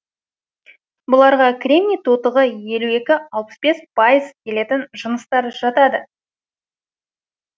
бұларға кремний тотығы елу екі алпыс бес келетін жыныстар жатады